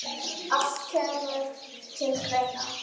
Allt kemur til greina.